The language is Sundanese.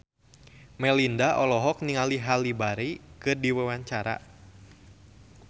Melinda olohok ningali Halle Berry keur diwawancara